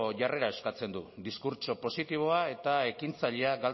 jarrera eskatzen du diskurtso positiboa eta ekintzailea